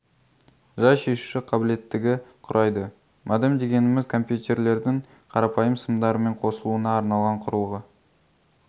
жай шешуші қабілеттігі құрайды модем дегеніміз компьютерлердің қарапайым сымдарымен қосылуына арналған құрылғы